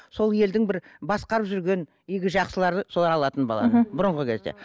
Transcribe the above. сол елдің бір басқарып жүрген игі жақсылары солар алатын баланы бұрынғы кезде